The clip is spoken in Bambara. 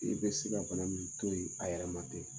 E bɛ se ka bana min to ye a yɛrɛma tɛ.